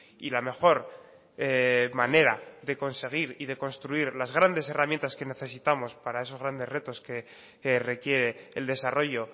y la mejor manera de conseguir y de construir las grandes herramientas que necesitamos para esos grandes retos que requiere el desarrollo